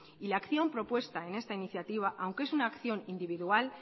y la acción propuesta en esta iniciativa aunque es una acción individual